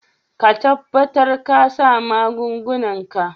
Ka tabatar ka sa magungunan ka.